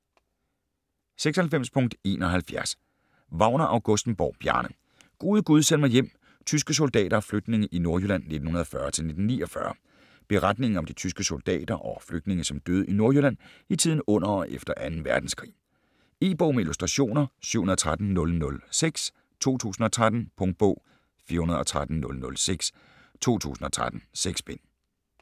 96.71 Wagner-Augustenborg, Bjarne: Gode gud, send mig hjem: tyske soldater og flygtninge i Nordjylland 1940-1949 Beretningen om de tyske soldater og flygtninge som døde i Nordjylland i tiden under og efter 2. verdenskrig. E-bog med illustrationer 713006 2013. Punktbog 413006 2013. 6 bind.